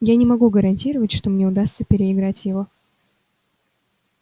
я не могу гарантировать что мне удастся переиграть его